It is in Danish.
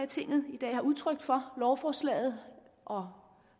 tinget i dag har udtrykt for lovforslaget og